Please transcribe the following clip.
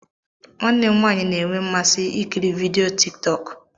Nwanne m nwanyị na-enwe mmasị ikiri vidiyo tiktok.